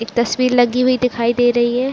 एक तस्वीर लगी हुई दिखाई दे रही है।